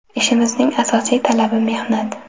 Ishimizning asosiy talabi mehnat.